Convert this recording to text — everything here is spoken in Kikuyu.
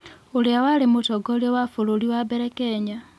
ũrĩa warĩ mũtongoria wa bũrũri wa mbere Kenya